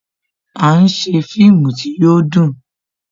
À ń ṣe fíìmù tí yo dùn